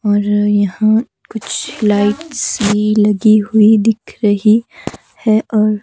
और यहां कुछ लाइट सी लगी हुई दिख रही है और--